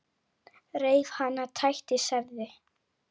Reif hana, tætti, særði.